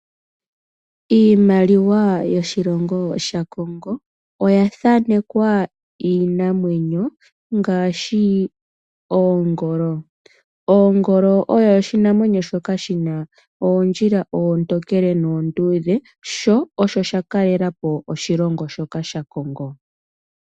Iimaliwa yoshilongo shaKongo oya thanekwa iinamwenyo ngaashi oongolo. Ongolo oyo oshinamwenyo shoka shina